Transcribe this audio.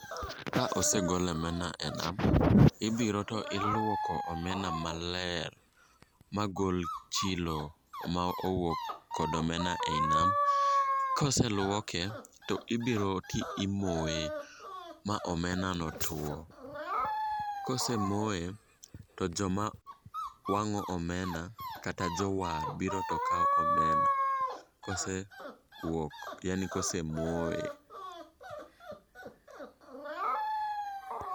Ka osegol omena e nam , ibiro to iluoko omena maler. Magol chilo ma owuok kod omena ei nam. Ka oseluoke to ibiro to imoye ma omena no tuo. Kose moye, to joma wang'o omena kata jo war biro to kawo omena kose kuok yaani kose moye.